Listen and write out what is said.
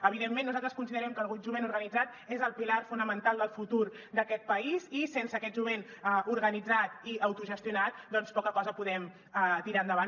evidentment nosaltres considerem que el jovent organitzat és el pilar fonamental del futur d’aquest país i sense aquest jovent organitzat i autogestionat doncs poca cosa podem tirar endavant